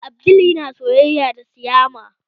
Abdul yana soyayya da siyama